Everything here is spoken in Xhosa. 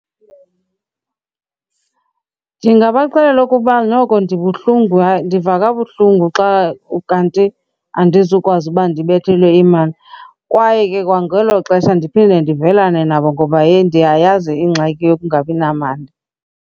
Ndingabaxelela okokuba noko ndibuhlungu ndiva kabuhlungu xa kanti andizukwazi uba ndibethelwe imali. Kwaye ke kwangelo xesha ndiphinde ndivelana nabo ngoba yheyi, ndiyayazi ingxaki yokungabi namali.